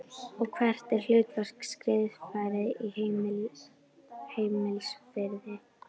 Og hvert er hlutverk skrifræðis í heimsfriði?